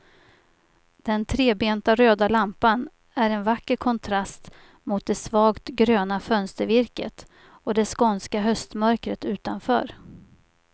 Den trebenta röda lampan är en vacker kontrast mot det svagt gröna fönstervirket och det skånska höstmörkret utanför.